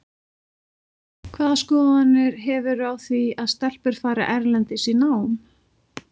Hvaða skoðanir hefurðu á því að stelpur fari erlendis í nám?